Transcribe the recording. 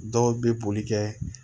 Dɔw bɛ boli kɛ